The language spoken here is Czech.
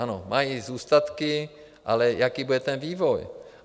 Ano, mají zůstatky, ale jaký bude ten vývoj?